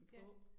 Ja